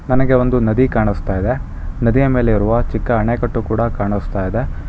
ನನಗೆ ಒಂದು ನದಿ ಕಾಣಿಸ್ತಾ ಇದೆ ನದಿಯ ಮೇಲೆ ಇರುವ ಚಿಕ್ಕ ಅಣೆಕಟ್ಟು ಕೂಡ ಕಾಣಿಸ್ತಾ ಇದೆ.